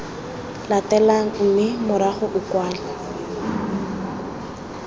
latelang mme morago o kwale